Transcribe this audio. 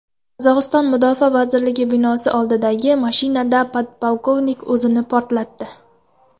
Qozog‘iston Mudofaa vazirligi binosi oldidagi mashinada podpolkovnik o‘zini portlatdi.